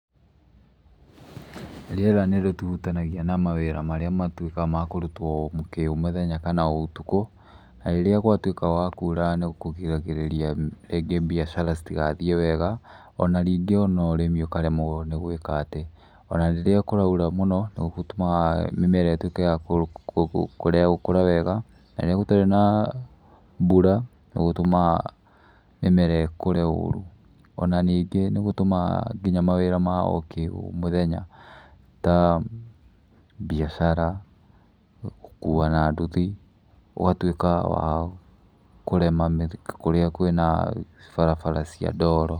Rĩera nĩrĩhutanagia na mawĩra marĩa matuĩkaga ma kũrutwo o kĩ o mũthenya, kana o ũtukũ. Na ĩrĩa gwatuĩka gwa kura, nĩkũgiragĩrĩria rĩngĩ biacara citigathiĩ wega, o na ningĩ o na ũrĩmi ũkaremwo nĩ gwĩka atĩ. O na ĩrĩa kũraura mũno, nĩ gũtũmaga mĩmera ĩtuĩke ya kurega gũkũra wega, na ĩrĩa gũtarĩ na mbũra, nĩ gũtũmaga mĩmera ĩkũre ũru. O na ningĩ nĩ gũtũmaga nginya mawĩra ma kĩ o mũthenya ta mbiacara, gũkua na nduthi, ũgatuĩka wa kũrema kũrĩa kwĩna barabara cia ndoro.